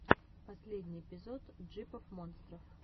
последний эпизод джипов монстров